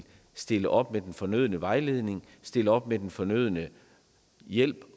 stille op med den fornødne vejledning stille op med den fornødne hjælp